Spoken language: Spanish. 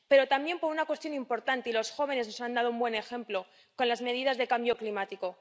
Pero también por una cuestión importante, y los jóvenes nos han dado un buen ejemplo con las medidas sobre el cambio climático.